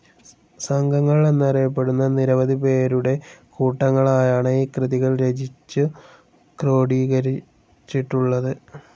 സംഘങ്ങൾ എന്നറിയപ്പെടുന്ന നിരവധി പേരുടെ കൂട്ടങ്ങളായാണ് ഈ കൃതികൾ രചിച്ചു ക്രോഡീകരച്ചിട്ടുളളത്.